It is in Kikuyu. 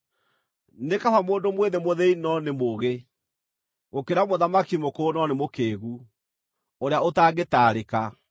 Nĩ kaba mũndũ mwĩthĩ mũthĩĩni no nĩ mũũgĩ, gũkĩra mũthamaki mũkũrũ no nĩ mũkĩĩgu, ũrĩa ũtangĩtaarĩka.